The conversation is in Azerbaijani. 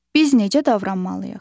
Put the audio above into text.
Biz necə davranmalıyıq?